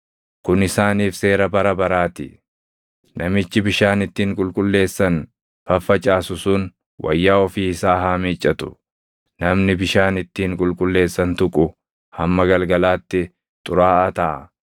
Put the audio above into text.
Kun isaaniif seera bara baraa ti. “Namichi bishaan ittiin qulqulleessan faffacaasu sun wayyaa ofii isaa haa miiccatu; namni bishaan ittiin qulqulleessan tuqu hamma galgalaatti xuraaʼaa taʼa.